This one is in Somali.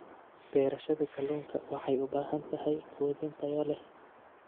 Beerashada kalluunka waxay u baahan tahay quudin tayo leh.